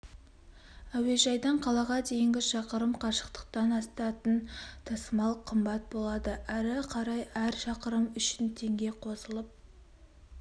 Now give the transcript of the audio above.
әуежайдан қалаға дейінгі шақырым қашықтықтан асатын тасымал қымбат болады әрі қарай әр шақырым үшін теңге қосылып